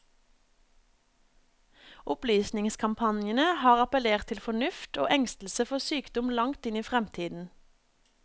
Opplysningskampanjene har appellert til fornuft og engstelse for sykdom langt inn i fremtiden.